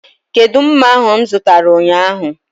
Kedụ mma ahu mụ zụtara ụnyaahụ?